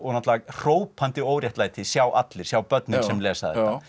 náttúrulega hrópandi óréttlæti sjá allir sjá börnin sem lesa